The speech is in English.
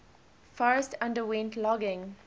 forest underwent logging